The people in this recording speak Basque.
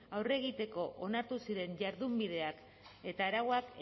aurre egiteko onartu ziren jardunbideak eta arauak